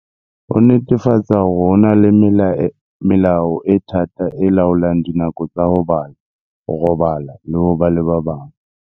Ho netefatsa hore ho na le melao e thata e laolang dinako tsa ho bala, ho robala le ho ba le ba bang.